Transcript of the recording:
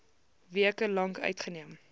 weke lank uitgeneem